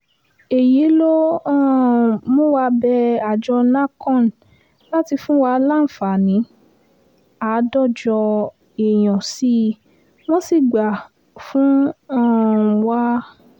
èyí ló um mú wa bẹ àjọ nahcon láti fún wa láǹfààní àádọ́jọ èèyàn sí i wọ́n sì gbà fún um wa